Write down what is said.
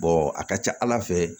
a ka ca ala fɛ